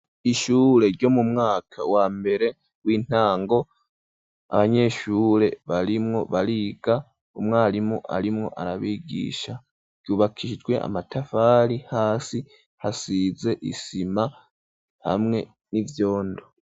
Ishure ryo mu mwaka wa mbere w'intango . Abanyeshure barimwo bariga umwarimu arimwo arabigisha ryubakijwe amatafari hasi hasize isima hamwe n'ivyondo .